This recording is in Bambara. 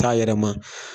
Taa yɛrɛma